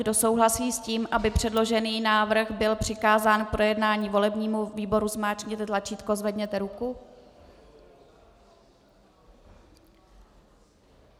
Kdo souhlasíte s tím, aby předložený návrh byl přikázán k projednání volebnímu výboru, zmáčkněte tlačítko, zvedněte ruku.